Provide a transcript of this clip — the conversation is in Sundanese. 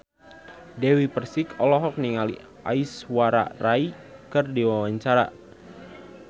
Dewi Persik olohok ningali Aishwarya Rai keur diwawancara